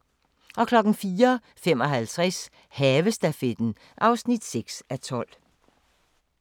04:55: Havestafetten (6:12)